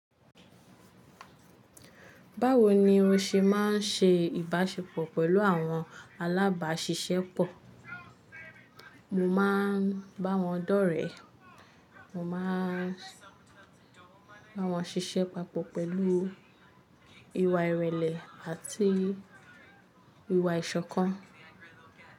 Báwo ni o ṣe má ń ṣe ìbáṣepọ̀ pẹ̀lú àwọn alábáṣiṣẹ́ pọ̀? Mo máa ń bá wọn dọ́rẹ̀ẹ́, mo máa ń bá wọn ṣiṣẹ́ papọ̀ pẹ̀lú ìwà ìrẹ̀lẹ̀ àti ìwà ìṣọ̀kan.